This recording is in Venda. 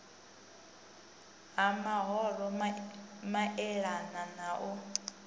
ha mahoro maelana na u